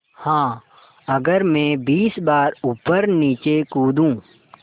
हाँ अगर मैं बीस बार ऊपरनीचे कूदूँ